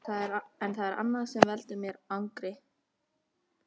En það er annað sem veldur mér angri.